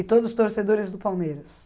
E todos os torcedores do Palmeiras?